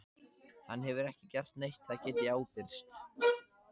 Hann hefur ekki gert neitt, það get ég ábyrgst.